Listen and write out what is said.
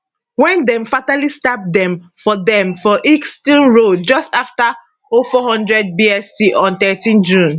wen dem fatally stab dem for dem for ilkeston road just afta 0400 bst on thirteen june